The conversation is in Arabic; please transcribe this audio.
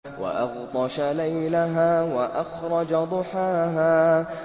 وَأَغْطَشَ لَيْلَهَا وَأَخْرَجَ ضُحَاهَا